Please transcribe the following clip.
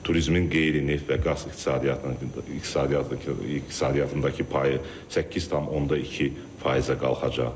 Turizmin qeyri-neft və qaz iqtisadiyyatındakı payı 8,2%-ə qalxacaq.